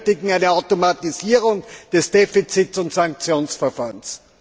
Wir benötigen eine Automatisierung des Defizit und Sanktionsverfahrens.